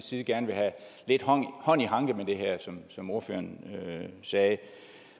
side gerne vil have lidt hånd i hanke med det her som som ordføreren sagde det